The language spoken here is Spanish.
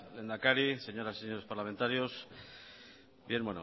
lehendakari señoras y señores parlamentarios bien